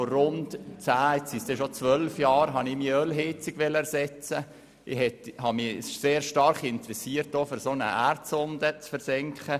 Vor rund zehn beziehungsweise bald zwölf Jahren wollte ich meine Öl-Heizung ersetzen und interessierte mich stark dafür, eine Erdsonde zu versenken.